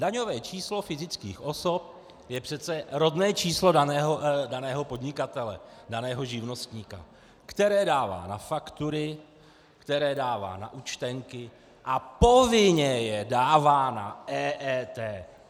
Daňové číslo fyzických osob je přece rodné číslo daného podnikatele, daného živnostníka, které dává na faktury, které dává na účtenky a povinně je dává na EET!